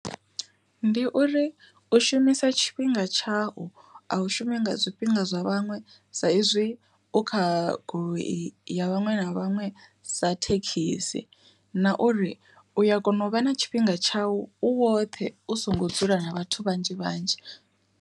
Ndi uri u shumisa tshifhinga tshau a u shumisa zwifhinga zwa vhaṅwe sa izwi u kha goloi ya vhaṅwe na vhaṅwe sa thekhisi, na uri u ya kona u vha na tshifhinga tshau u woṱhe u songo dzula na vhathu vhanzhi vhanzhi.